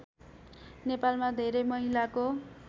नेपालमा धेरै महिलाको